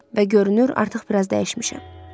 Və görünür, artıq biraz dəyişmişəm.